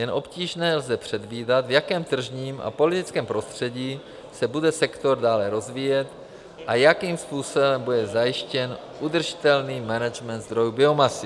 Jen obtížně lze předvídat, v jakém tržním a politickém prostředí se bude sektor dále rozvíjet a jakým způsobem bude zajištěn udržitelný management zdrojů biomasy.